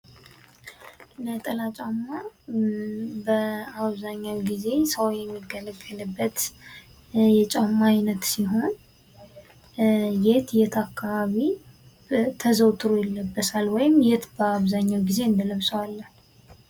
ነጠላ ጫማ በአብዛኛው ጊዜ ሰው የሚገለገልበት የጫማ አይነት ሲሆን የት የት አካባቢ ተዘውትሮ ይለበሳል ወይም የት በአብዛኛው ጊዜ እንለብሰዋለን?